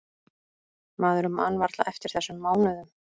Maður man varla eftir þessum mánuðum.